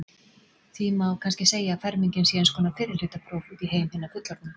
Því má kannski segja að fermingin sé eins konar fyrrihlutapróf út í heim hinna fullorðnu.